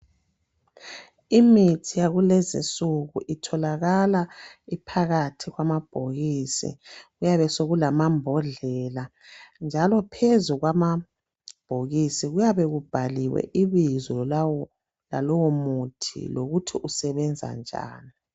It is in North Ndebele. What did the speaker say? Imithi yakulezi nsuku itholakala iphakathi kwamabhokisi kuyabe sokulamambodlela njalo phezu kwamabhokisi kuyabe kubhaliwe ibizo lalowo muthi lokuthi usebenza njani.